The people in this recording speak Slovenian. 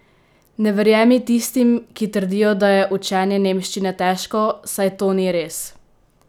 Ne verjemi tistim, ki trdijo, da je učenje nemščine težko, saj to ni res!